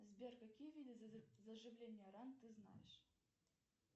сбер какие виды заживления ран ты знаешь